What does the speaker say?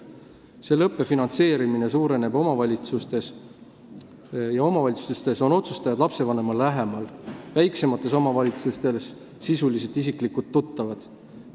Nüüd suureneb selle õppe finantseerimine omavalitsustes ja seal on otsustajad lapsevanemale lähemal, väiksemates omavalitsustes on nad sisuliselt isiklikult tuttavad.